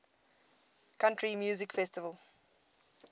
country music festival